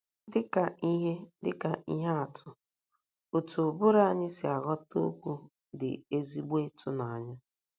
Dị ka ihe Dị ka ihe atụ, otú ụbụrụ anyị si aghọta okwu dị ezigbo ịtụnanya.